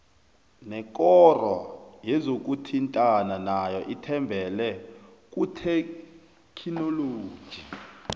nekoro yezokuthintana nayo ithembele kuthekhinoloji